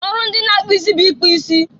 ọrụ ndị na-akpụ isi bụ ịkpụ isi.